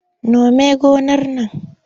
Nome gonar nan!